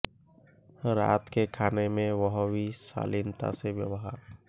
रात के खाने में वह भी शालीनता से व्यवहार